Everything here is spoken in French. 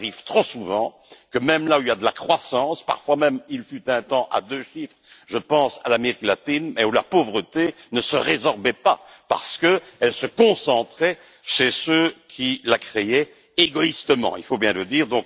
Il arrive trop souvent que, même là où il y a de la croissance parfois même, il fut un temps, à deux chiffres, je pense à l'Amérique latine la pauvreté ne se résorbe pas, parce qu'elle se concentre chez ceux qui la créent égoïstement, il faut bien le dire.